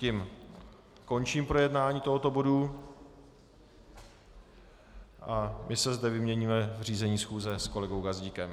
Tím končím projednání tohoto bodu a my se zde vyměníme v řízení schůze s kolegou Gazdíkem.